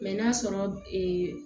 n'a sɔrɔ